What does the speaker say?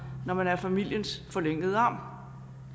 når man er familiens forlængede arm